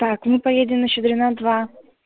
так мы поедем на щедрина два